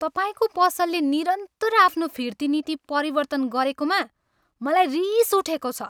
तपाईँको पसलले निरन्तर आफ्नो फिर्ती नीति परिवर्तन गरेकोमा मलाई रिस उठेको छ।